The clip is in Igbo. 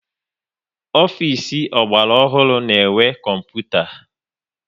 Ofisi ọgbara ọhụrụ na-enwe kọmputa